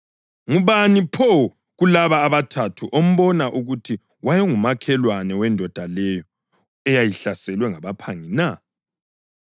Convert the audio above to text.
Ngubani pho kulaba abathathu ombona ukuthi wayengumakhelwane wendoda leyo eyahlaselwa ngabaphangi na?”